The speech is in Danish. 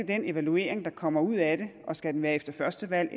den evaluering der kommer ud af det og skal den være efter første valg